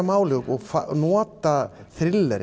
máli og nota